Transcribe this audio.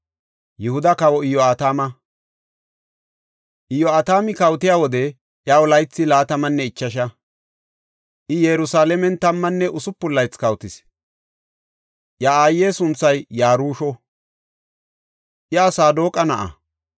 Iyo7atami kawotiya wode iyaw laythi laatamanne ichasha; I Yerusalaamen tammanne usupun laythi kawotis. Iya aaye sunthay Yarusho; iya Saadoqa na7a.